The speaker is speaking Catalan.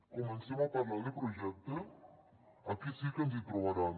comencem a parlar de projecte aquí sí que ens hi trobaran